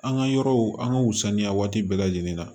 An ka yɔrɔw an ka wusaya waati bɛɛ lajɛlen ma